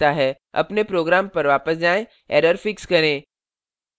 अपने program पर वापस जाएँ error fix करें